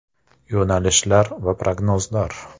- Yo‘nalishlar va prognozlar.